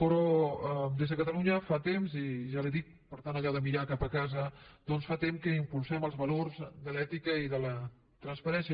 però des de catalunya fa temps i ja li ho dic per allò de mirar cap a casa doncs fa temps que impulsem els valors de l’ètica i de la transparència